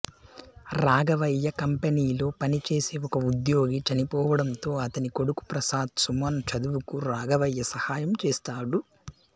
రాఘవయ్య కంపెనీలో పని చేసే ఒక ఉద్యోగి చనిపోవడంతో అతని కొడుకు ప్రసాద్ సుమన్ చదువుకు రాఘవయ్య సహాయం చేస్తాడు